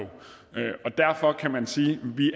og derfor kan man sige at vi